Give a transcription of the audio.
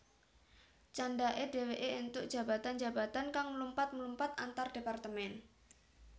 Candhake dheweke entuk jabatan jabatan kang mlumpat mlumpat antardepartemen